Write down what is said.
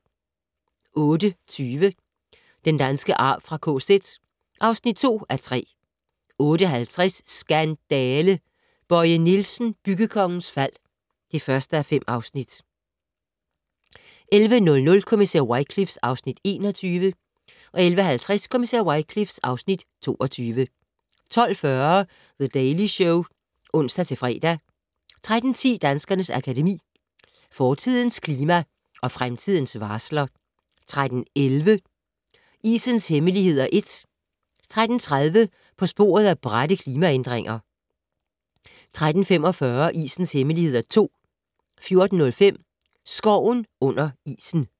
08:20: Den danske arv fra KZ (2:3) 08:50: Skandale! - Bøje Nielsen, byggekongens fald (1:5) 11:00: Kommissær Wycliffe (Afs. 21) 11:50: Kommissær Wycliffe (Afs. 22) 12:40: The Daily Show (ons-fre) 13:10: Danskernes Akademi: Fortidens klima og fremtidens varsler 13:11: Isens hemmeligheder (1) 13:30: På sporet af bratte klimaændringer 13:45: Isens hemmeligheder (2) 14:05: Skoven under isen